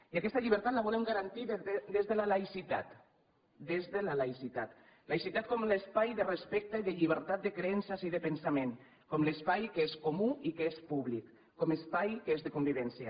i aquesta llibertat la volem garantir des de la laïcitat laïcitat com a espai de respecte i de llibertat de creences i de pensament com a espai que és comú i que és públic com a espai que és de convivència